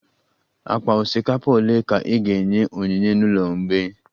Akpa osikapa ole ka i ga-enye onyinye n'ụlọ mgbei?